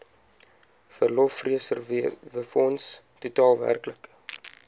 verlofreserwefonds totaal werklik